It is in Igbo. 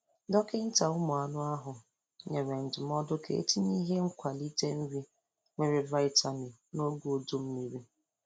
Dọkịnta ụmuanụ ahụ nyere ndụmodụ ka etịnye ihe nkwalịte nrị nwere vitamin n'ọge ụdụmmịrị.